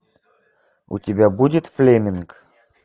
у тебя будет флеминг